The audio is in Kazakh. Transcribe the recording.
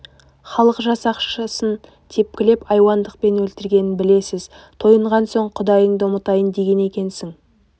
халық жасақшысын тепкілеп айуандықпен өлтіргенін білесіз тойынған соң құдайыңды ұмытайын деген екенсің